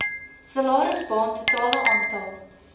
salarisbaan totale aantal